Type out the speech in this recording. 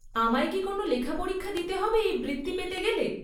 আমায় কি কোনও লেখা পরীক্ষা দিতে হবে এই বৃত্তি পেতে গেলে?